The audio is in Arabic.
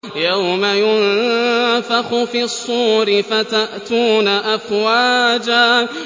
يَوْمَ يُنفَخُ فِي الصُّورِ فَتَأْتُونَ أَفْوَاجًا